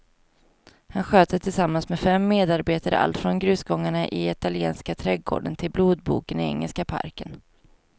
Han sköter tillsammans med fem medarbetare allt från grusgångarna i italienska trädgården till blodboken i engelska parken.